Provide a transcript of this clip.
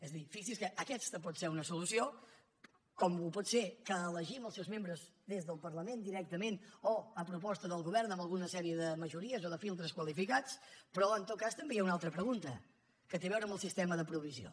és a dir fixi’s que aquesta pot ser una solució com ho pot ser que elegim els seus membres des del parlament directament o a proposta del govern amb alguna sèrie de majories o de filtres qualificats però en tot cas també hi ha una altra pregunta que té a veure amb el sistema de provisió